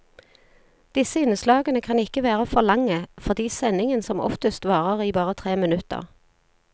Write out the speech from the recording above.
Disse innslagene kan ikke være lange, fordi sendingen som oftest varer i bare tre minutter.